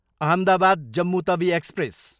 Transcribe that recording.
Ahmedabad, Jammu Tawi express